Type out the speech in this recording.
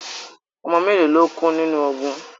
Ọmọ mélo lo kú nínu ogun?